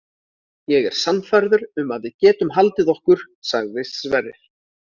Ég er sannfærður um að við getum haldið okkur, sagði Sverrir.